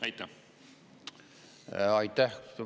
Aitäh!